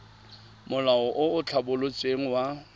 molao o o tlhabolotsweng wa